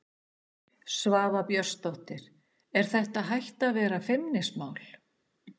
Svava Björnsdóttir: Er þetta hætt að vera feimnismál?